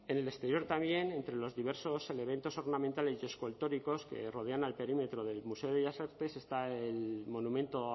en el exterior también entre los diversos elementos ornamentales y escultóricos que rodean al perímetro del museo de bellas artes está el monumento